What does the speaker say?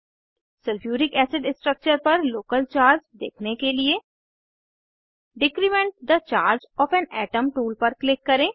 sulphuric acid structure पर local charge देखने के लिए decrement the charge of an atom tool पर क्लिक करें